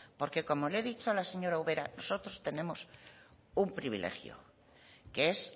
porque como le he dicho a la señora ubera nosotros tenemos un privilegio que es